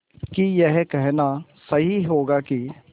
कि यह कहना सही होगा कि